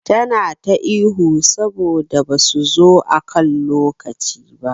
Tana ta ihu saboda basu zo akan lokaci ba.